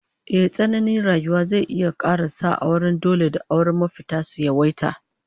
Ehh, tsananin wahalar rayuwa zai kara sa auren dole da auren mafitar su yawaita